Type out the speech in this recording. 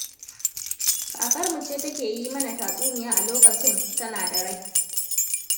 Kakamu ce take yi mana tatsuniya a lokacin tana da rai.